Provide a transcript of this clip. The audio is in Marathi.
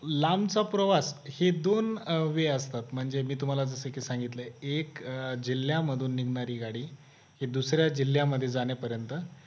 लांबचा प्रवास हे दोन way असतात म्हणजे मी तुम्हाला जसे की सांगितले एक जिल्ह्यामधून निघणारी गाडी हे दुसऱ्या जिल्ह्यामध्ये जाणे पर्यंत